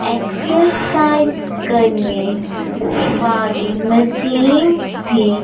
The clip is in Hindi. एक्सरसाइज करने वाली मशीन्स भी--